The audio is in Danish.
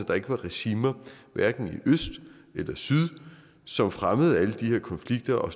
der ikke var regimer hverken i øst eller syd som fremmede alle de her konflikter og